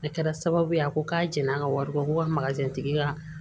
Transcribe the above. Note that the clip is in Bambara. A kɛra sababu ye a ko k'a jɛn'an ka wari kɔ ko ka tigi ka